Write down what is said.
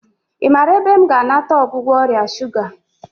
I maara ebe m ga-anata ọgwụgwọ ọrịa shuga?